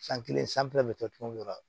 San kelen sanfɛla bɛ kɛ cogo min goro